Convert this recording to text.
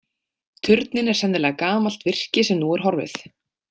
Turninn er sennilega gamalt virki sem nú er horfið.